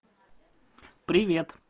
привет